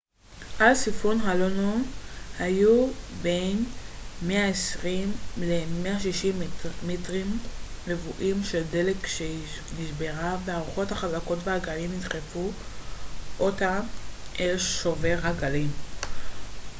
על סיפון הלונו היו 120-160 מטרים רבועים של דלק כשהיא נשברה והרוחות החזקות והגלים דחפו אותה אל שובר הגלים